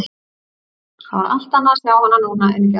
Það var allt annað að sjá hana núna en í gær.